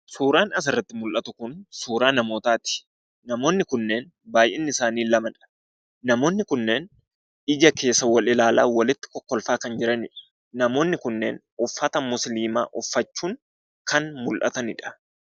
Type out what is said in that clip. Suuraan asirratti mul'atu kun suuraa namootaati. Namoonni kunneen baay'inni isaanii lamadha. Namoonni kunneen ija keessa wal ilaalaa walitti kolfaa kan jiranidha. Namoonni kunneen uffata musliimaa uffachuun kanneen mul'atanidha.